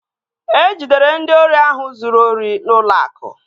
E jidere ndị ori ahụ zụrụ ori n'ụlọ akụ